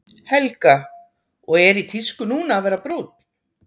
Helga: Og er í tísku núna að vera brúnn?